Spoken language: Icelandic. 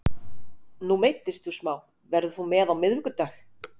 Nú meiddist þú smá, verður þú með á miðvikudag?